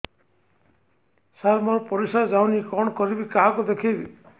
ସାର ମୋର ପରିସ୍ରା ଯାଉନି କଣ କରିବି କାହାକୁ ଦେଖେଇବି